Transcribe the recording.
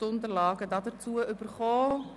Die Unterlagen dazu haben Sie erhalten.